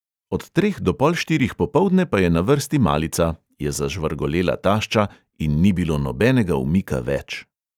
"Od treh do pol štirih popoldne pa je na vrsti malica," je zažvrgolela tašča in ni bilo nobenega umika več.